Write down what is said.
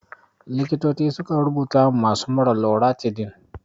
Likitoci sukan rubuta wa masu mura loratidin.